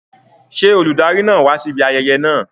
Ṣé olùdarí náà wá síbi ayẹyẹ náà?